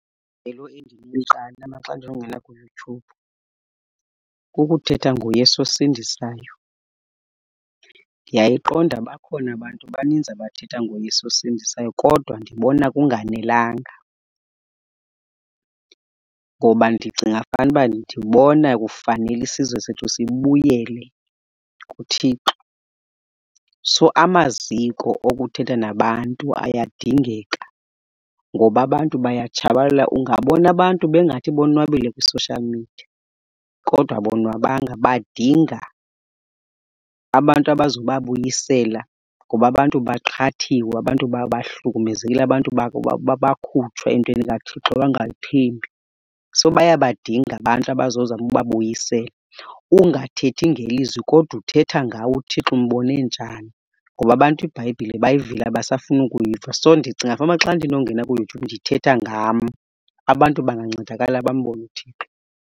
Ijelo endinoliqala mna xa ndinongena kuYouTube kukuthetha ngoYesu osindisisayo. Ndiyayiqonda bakhona abantu baninzi abathetha ngoYesu osindisisayo kodwa ndibona kunganelanga, ngoba ndicinga fanuba ndibona kufanele isizwe sethu sibuyele kuThixo. So amaziko okuthetha nabantu ayadingeka, ngoba abantu bayatshabalala. Ungabona abantu bengathi bonwabile kwi-social media, kodwa abonwabanga badinga abantu abazobabuyisela. Ngoba abantu baqhathiwe, abantu bahlukumezekile, abantu bakhutshwa entweni kaThixo bangayithembi. So bayabadinga abantu abazozama ubabuyisela. Ungathethi ngelizwi kodwa uthetha ngawe, uThixo umbone njani. Ngoba abantu iBhayibhile bayivile abasafuni ukuyiva. So ndicinga fanuba xa ndinongena kuYouTube ndithetha ngam, abantu bangancedakala bambone uThixo.